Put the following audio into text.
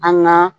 An ŋaa